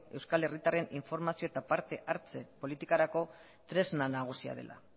euskal herritarren informazio eta parte hartze politikarako tresna nagusia dela